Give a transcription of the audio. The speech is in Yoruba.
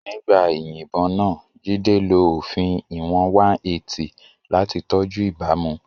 Nígbà ìyìnbọn náà, Jide lo òfin ìwọ̀n 180 láti tọ́jú ìbámu.